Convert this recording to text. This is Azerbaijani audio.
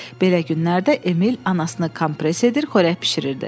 Belə günlərdə Emil anasını kompres edir, xörək bişirirdi.